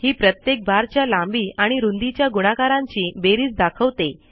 ही प्रत्येक बारच्या लांबी आणि रूंदीच्या गुणाकारांची बेरीज दाखवते